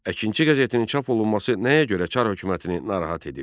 Əkinçi qəzetinin çap olunması nəyə görə çar hökumətini narahat edirdi?